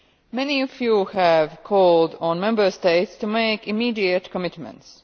Many of you have called on the Member States to make immediate commitments.